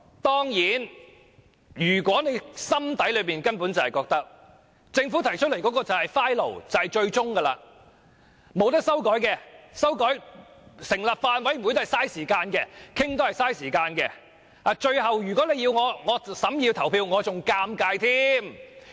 當然，他們心裏可能會覺得，政府提出的條文就是最終定案，不能修改，成立法案委員會只是浪費時間，討論也是浪費時間，最後，如果要他們審議法案及投票，只會令他們尷尬。